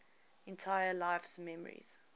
entire life's memories